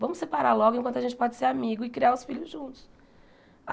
Vamos separar logo enquanto a gente pode ser amigo e criar os filhos juntos.